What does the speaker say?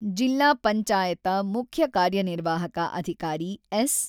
ಜಿಲ್ಲಾ ಪಂಚಾಯತ ಮುಖ್ಯ ಕಾರ್ಯ ನಿರ್ವಾಹಕ ಅಧಿಕಾರಿ ಎಸ್.